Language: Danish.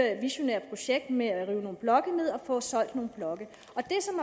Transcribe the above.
visionære projekt med at rive nogle blokke ned og få solgt nogle blokke